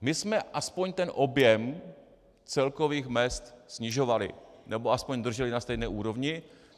My jsme aspoň ten objem celkových mezd snižovali, nebo aspoň drželi na stejné úrovni.